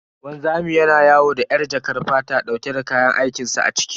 Wanzami yana yawo da yar jakar fata dauke da kayan aikin sa a ciki.